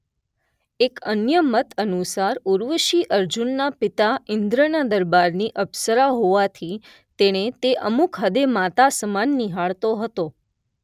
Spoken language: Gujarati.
એક અન્ય મત અનુસાર ઉર્વશી અર્જુનના પિતા ઇંદ્રના દરબારની અપ્સરા હોવાથી તેને તે અમુક હદે માતા સમાન નિહાળતો હતો.